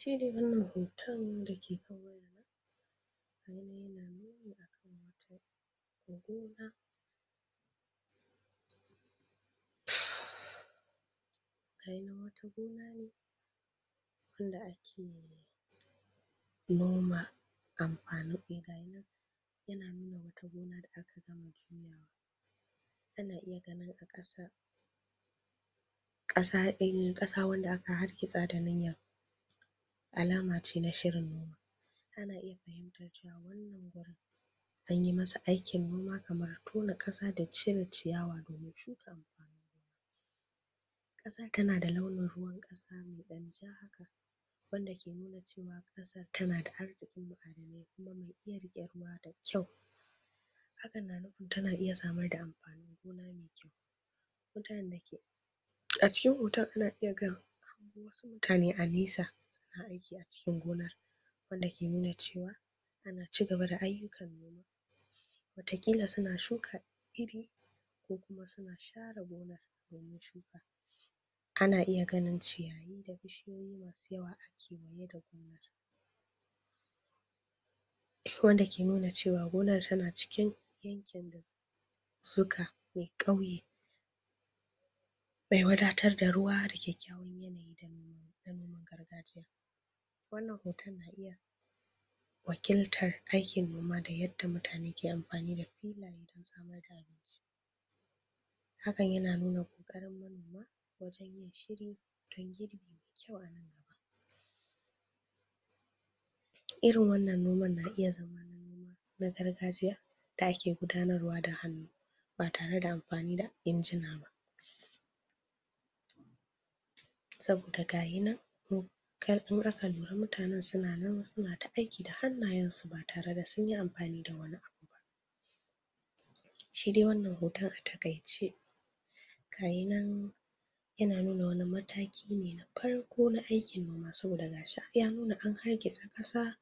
Shi dai wannan hoton da ke kan wayata, yana nuna a kan wata gona wata gona ne wanda ake noma amfanin. Ga shi nan yana nuna wata gona da aka gama juyawa. ƙasa wanda aka hargitsa da alama ce na shirin ana iya fahimtar cewa an yi masa aikin noma kamar tone ƙasa da cire ciyawa tana da launin ruwan ƙasa mai ja haka wanda ke nuna cew aƙasar tana da arziki ma'adanai kuma mai iya riƙe ruwa da kyau. Hakan na nufin tana iya samar da amfanin gona mai kyau. Mutanen da ke A cikin hoton ana iya ganin mutane a nesa suna aiki a cikin gonar wanda ke nuna cewa ana ci gaba da ayyukan gonar. Wataƙila suna shuka iri ko kuma suna share gonar domin shuka Ana iya ganin ciyayi da bishiyoyi masu yawa a ciki wanda ke nuna cewa gonar tana cikin yankin da da wadatar da ruwa da kyakkyawan yanayi na noman gargajiya Wannan hoton na iya wakiltar aikin noma da yadda mutrane ke amfani da filaye don samar da Hakan yana nuna ƙoƙarin manoma wajen yin shiri don girbi mai kyau a nan gaba. Iri wannan noman yana iya zama noma na gargajiya da ake gudanarwa da hannu ba tare da amfani da inji ba ba Saboda ga shi nan in aka lura mutanen suna nan suna ta aiki da hannayensu ba tare da sun yi amfani da wani abu ba. Shi dai wannan hoton a taƙaice yana nuna wani mataki ne na farko na aikin noma saboda ga shi ai ya nuna an hargitsa ƙasa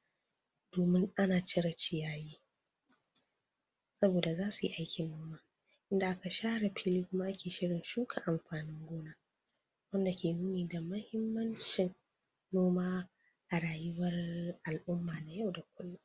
domin ana cire ciyayi saboda za su yi aikin noma inda aka share fili kuma ake shirin shuka amfanin gona. wanda ke nuni da muhimmancin noma a rayuwar al'umma na yau da kullum.